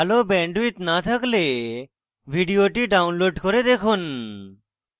ভাল bandwidth না থাকলে ভিডিওটি download করে দেখুন